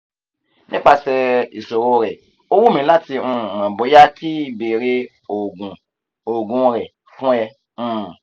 nipase isoro re o wumi lati um mo boya ki beere oogun oogun re fun e um